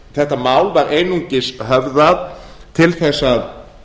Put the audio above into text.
þetta mál var einungis höfðað til þess að